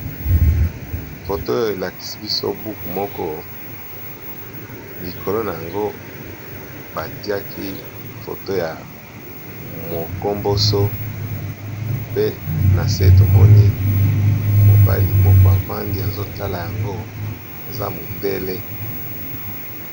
Foto oyo elakisi biso buku moko likolo na yango batiaki foto ya mokomboso, pe na se tomoni mobali moko avandi azo tala yango aza mondele.